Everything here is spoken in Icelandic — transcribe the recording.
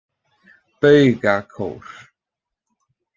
Baugakór